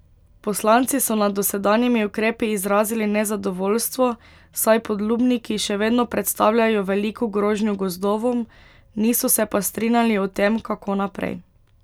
Poslanci so nad dosedanjimi ukrepi izrazili nezadovoljstvo, saj podlubniki še vedno predstavljajo veliko grožnjo gozdovom, niso se pa strinjali o tem, kako naprej.